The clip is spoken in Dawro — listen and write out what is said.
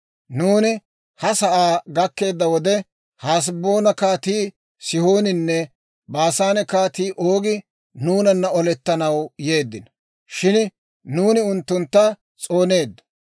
«Nuuni ha sa'aa gakkeedda wode, Haseboona Kaatii Sihooninne Baasaane Kaatii Oogi nuunana olettanaw yeeddino; shin nuuni unttuntta s'ooneeddo.